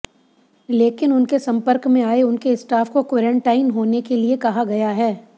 लेकिन उनके संपर्क में आये उनके स्टाफ को क्वारैंटाइन होने के लिए कहा गया है